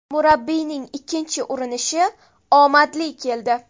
Murabbiyning ikkinchi urinishi omadli keldi.